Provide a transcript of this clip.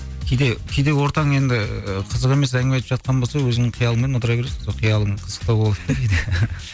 кейде кейде ортаң енді қызық емес әңгіме айтып жатқан болса өзіңнің қиялыңмен отыра бересің сол қиялың қызықтау болады